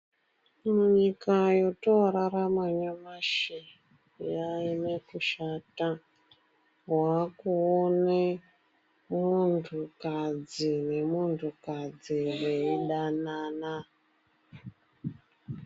Nyika yotoorarama nyamashi yanyanye kushata. Waakuone muntukadzi nemuntukadzi veidanana.